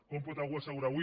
com pot algú assegurar avui